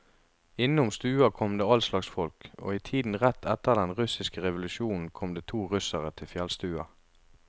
Innom stua kom det allslags folk, og i tiden rett etter den russiske revolusjonen kom det to russere til fjellstua.